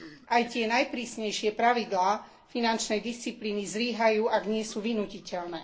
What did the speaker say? Aj tie najprísnejšie pravidlá finančnej disciplíny zlyhajú, ak nie sú vynútiteľné.